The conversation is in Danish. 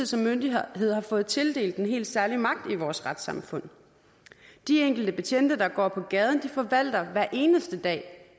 som myndighed fået tildelt en helt særlig magt i vores retssamfund de enkelte betjente der går på gaden forvalter hver eneste dag